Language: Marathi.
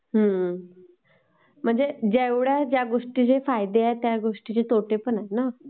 हम्म...म्हणजे ज्या गोष्टीने फायदे आहेत...तसे तोटेपण आहेत.